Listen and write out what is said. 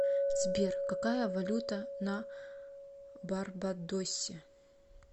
сбер какая валюта на барбадосе